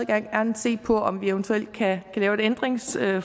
gerne se på om vi eventuelt kan lave et ændringsforslag